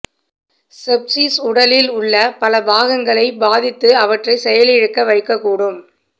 sepsis உடலில் உள்ள பல பாகங்களை பாதித்து அவற்றை செயலிழக்க வைக்கக்கூடும்